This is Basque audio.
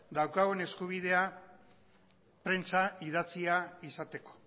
daukagun eskubidea prentsa idatzia izateko